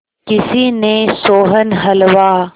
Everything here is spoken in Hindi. किसी ने सोहन हलवा